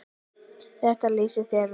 Þetta lýsir þér vel.